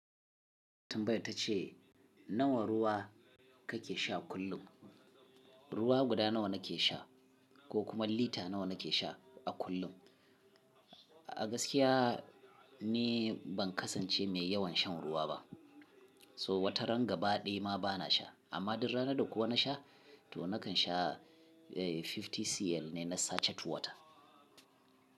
Tambaya ta ce nawa ruwa kake sha kullum? Ruwa guda nawa nake sha ko kuma lita nawa nake sha a kullum? A gaskiya ni ban kasance mai yawan shan ruwa ba. So wata ranga baɗi ma bana sha amma idan rana da kowa na sha to nakan sha eh 50cl ne na sache tuwata.